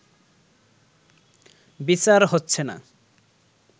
বিচার হচ্ছে না